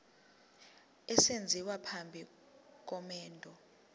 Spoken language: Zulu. esenziwa phambi komendo